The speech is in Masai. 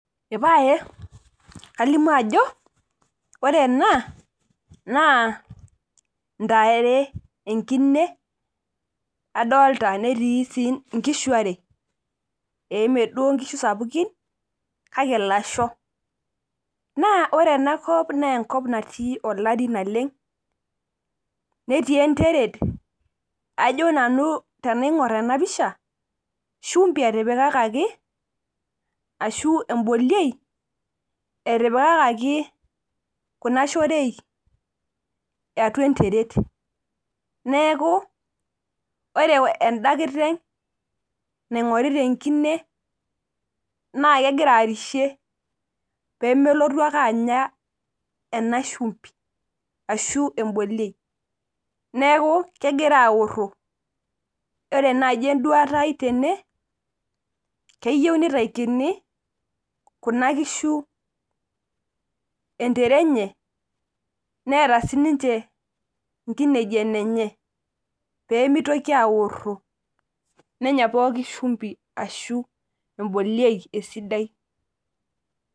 eepaye kalimu ajo ore ena naa intare enkine, enkine adoolta netii sii inkishu are ee imeduo inkishu sapuki kake ilasho, naa ore enakop naa enkop natii olari naleng' netii enteret ajo nanu tenaing'or enapisha shumbi etipikaki ashu ebololie , etipikaki kuna kishu oorei atua enteret neeku , ore eda kititeng' naing'orita enkine naa kegira arishie pee melotu ake anya ena shumbi, aaashu eboliei neeku kegira aoro ore naaji eduata ai tene keyieu ning'urakini inkishu enenye neeta sii ninche intare enenye, pee mitoki aaoro nenye sii ninche esidai.